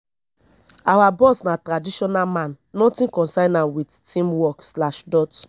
our boss na traditional man nothing concern am wit team work slash dot